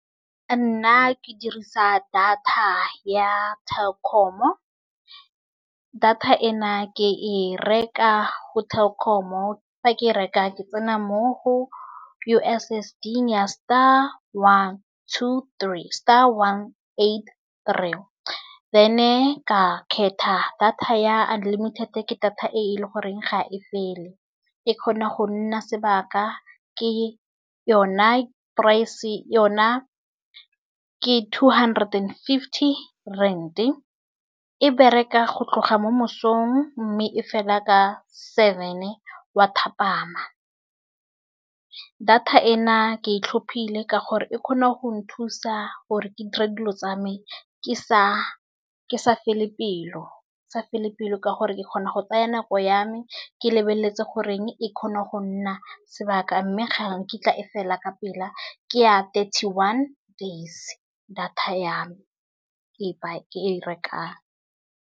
Nna ke dirisa data ya Telkom. Data ena ke e reka go Telkom-o fa ke e reka ke tsena mo ho U_S_S_D ya star one to three star one eight three then ka kgetha data ya unlimited ke data e le gore ga e fele. E kgona go nna sebaka ke yone price yona ke two hundred and fifty rand e bereka go tloga mo mosong mme e fela ka seven wa thapama. Data ena ke itlhophile ka gore e kgona go nthusa gore ke dire dilo tsa me ke sa fele pelo. Ke sa pelo ka gore ke kgona go tsaya nako ya me ke lebeletse gore e kgone go nna sebaka mme ga nkitla e fela ka pela ke ya thirty one days. Data ya me e ke e rekang.